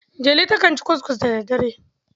Delu takan ci ckuskus da daddare.